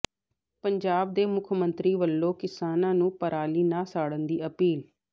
ਪੰਜਾਬ ਦੇ ਮੁੱਖ ਮੰਤਰੀ ਵੱਲੋਂ ਕਿਸਾਨਾਂ ਨੂੰ ਪਰਾਲੀ ਨਾ ਸਾੜਨ ਦੀ ਅਪੀਲ